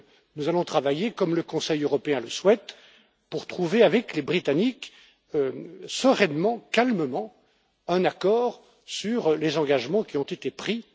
Nous allons travailler, comme le Conseil européen le souhaite, pour trouver avec les Britanniques, sereinement, calmement, un accord sur les engagements qui ont été pris.